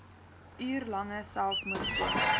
uur lange selfmoordpoging